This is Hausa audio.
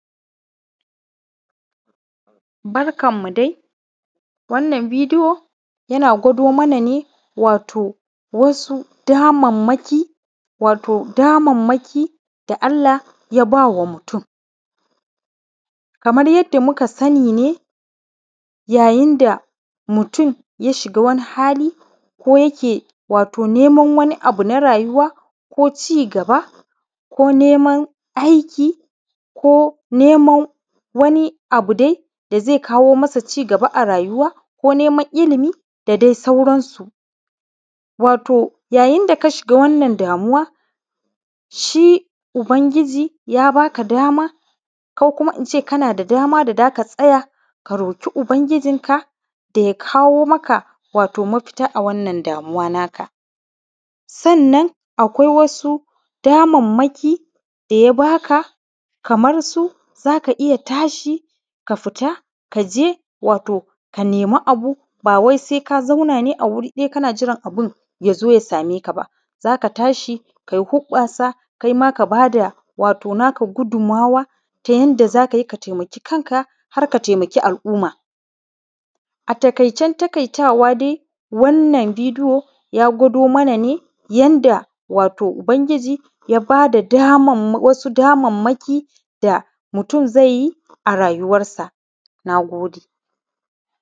Barkan mu dai, wannan bidiyo yana gwado mana ne, wato wasu damammaki, wato damammaki da Allah ya ba wa mutum. Kamar yadda muka sani ne, yayin da mutum ya shiga wani hali ko yake wato neman wani abu na rayuwa, ko cigaba ko neman aiki, ko neman wani abu dai, da zai kawo masa cigaba a rayuwa, ko neman ilimi, da de sauransu. Wato, yayin da ka shiga wannan damuwa, shi ubangiji ya ba ka dama, ko kuma in ce kana da dama da da ka tsaya, ka roki ubangiji, da ya kawo maka wato mafita a wannan damuwa naka. Sannan, akwai wasu damammaki da ya ba ka, kamar su, za ka iya tashi, ka fita, ka je, wato ka nema abu, ba wai se ka zauna ne a wuri ɗaya kana jiran abin ya zo ya same ka ba. Za ka tashi, kai hoƃƃasa, kai ma ka ba da wato naka gudummawa, ta yanda za ka yi ka taimaki kanka, har ka temaki al’uma. A takaicen takaitawa dai, wannan bidiyo, ya gwado mana ne, yanda wato ubangiji, ya ba da damamma; wasu damammaki, da mutum zai yi a rayuwarsa, na gode.